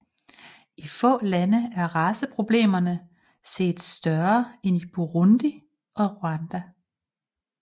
I få lande er raceproblemerne set større end Burundi og Rwanda